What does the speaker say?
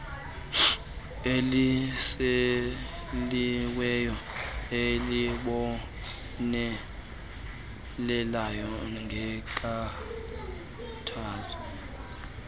elisekiweyo elibonelela ngenkathalelo